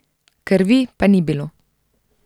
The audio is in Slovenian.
Krvi pa ni bilo.